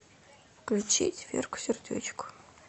включить верку сердючку